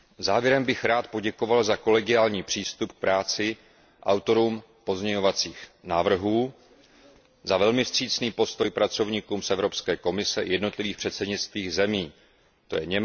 Závěrem bych rád poděkoval za kolegiální přístup k práci autorům pozměňovacích návrhů, za velmi vstřícný postoj pracovníkům z Evropské komise i jednotlivých předsednických zemí, tj.